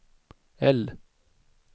L